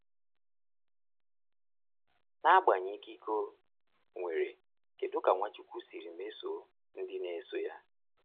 N’agbanyeghị ikike o nwere, kedu ka Nwachukwu siri mesoo ndị na-eso ya?